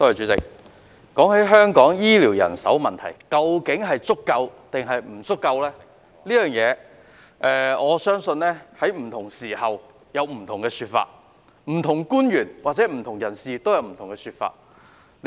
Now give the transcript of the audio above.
主席，關於香港醫療人手是否足夠這個問題，我相信在不同時間有不同說法，不同官員或不同人士也有不同說法。